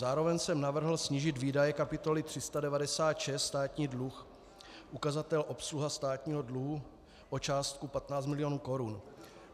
Zároveň jsem navrhl snížit výdaje kapitoly 396 Státní dluh, ukazatel obsluha státního dluhu, o částku 15 milionů korun.